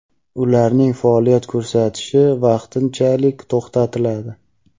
ularning faoliyat ko‘rsatishi vaqtinchalik to‘xtatiladi.